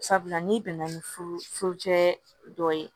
Sabula n'i bɛnna ni furucɛ dɔ ye